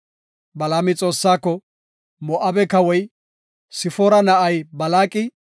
Balaami Xoossaako, “Moo7abe kawoy, Sifoora na7ay Balaaqi,